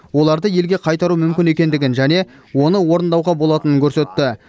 оларды елге қайтару мүмкін екендігін және оны орындауға болатынын көрсетті